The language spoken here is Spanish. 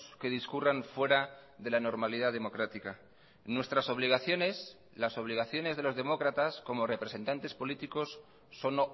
que discurran fuera de la normalidad democrática nuestras obligaciones las obligaciones de los demócratas como representantes políticos son